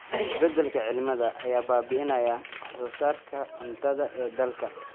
Isbeddelka cimilada ayaa baabi'inaya wax soo saarka cuntada ee dalka.